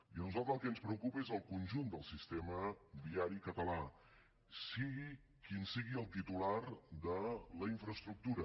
i a nosaltres el que ens preocupa és el conjunt del sistema viari català sigui quin sigui el titular de la infraestructura